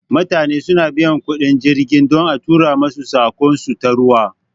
Mutane su na biyan kuɗin jirgi don a tura masu saƙon su ta ruwa